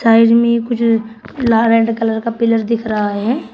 Side में कुछ लाल एंड कलर का पिलर दिख रहा है।